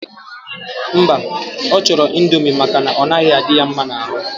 Mba, ochoro indomie maka na onaghi adi ya mma na aru.